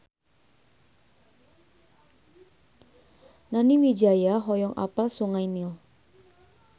Nani Wijaya hoyong apal Sungai Nil